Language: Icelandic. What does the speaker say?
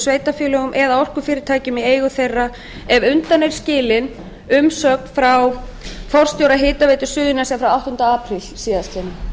sveitarfélögum eða orkufyrirtækjum í eigu þeirra ef undan er skilin umsögn forstjóra hitaveitu suðurnesja frá áttunda apríl síðastliðinn